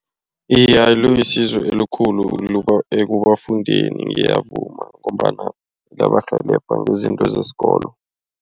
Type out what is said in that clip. Iye, lilisizo elikhulu ekubafundini ngiyavuma ngombana kuyabarhelebha ngezinto zesikolo.